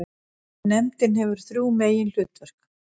Nefndin hefur þrjú meginhlutverk.